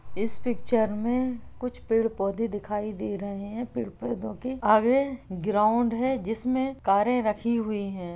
इस पिक्चर में कुछ पेड़-पौधे दिखाई दे रहे हैं। पेड़-पौधों के आगे ग्राउंड हैं जिसमे कारे रखी हुई हैं।